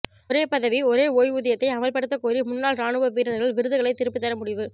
ஒரே பதவி ஒரே ஓய்வூதியத்தை அமல்படுத்த கோரி முன்னாள் ராணுவ வீரர்கள் விருதுகளை திருப்பித்தர முடிவு